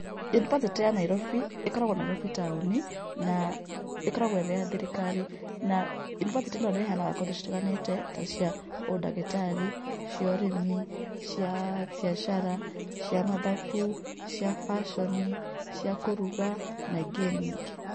University ya Nairobi, ĩkoragwo Nairobi taũni na ĩkoragwo ĩĩ ya thirikari. Na unibacĩtĩ ĩno nĩ ĩheanaga kothi citiganĩte ta cia ũndagĩtarĩ, cia ũrĩmi, cia biacara cia mathabu, cia fashion cia kũruga na ingĩ nyingĩ.